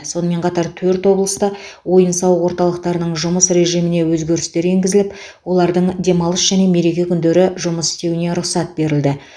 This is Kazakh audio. сонымен қатар төрт облыста ойын сауық орталықтарының жұмыс режиміне өзгерістер енгізіліп олардың демалыс және мереке күндері жұмыс істеуіне рұқсат берілді